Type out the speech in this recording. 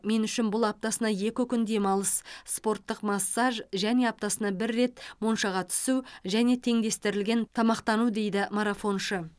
мен үшін бұл аптасына екі күн демалыс спорттық массаж және аптасына бір рет моншаға түсу және теңдестірілген тамақтану дейді марафоншы